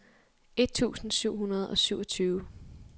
et tusind syv hundrede og syvogtyve